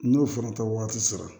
N'o fana tɛ waati sera